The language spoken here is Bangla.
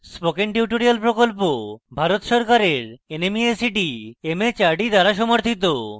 spoken tutorial প্রকল্প ভারত সরকারের nmeict mhrd দ্বারা সমর্থিত